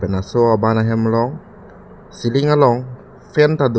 laso aban ahem along ceiling along fan tado.